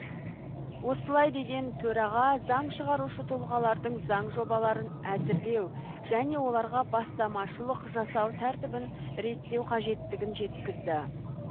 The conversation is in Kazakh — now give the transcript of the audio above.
осылай деген төраға заң шығарушы тұлғалардың заң жобаларын әзірлеу және оларға бастамашылық жасау тәртібін реттеу қажеттігін жеткізді